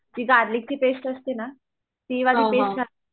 ती गार्लीकची पेस्ट असते ना ती वाली पेस्ट